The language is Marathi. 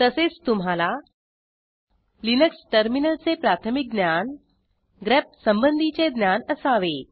तसेच तुम्हाला लिनक्स टर्मिनलचे प्राथमिक ज्ञान grepसंबंधीचे ज्ञान असावे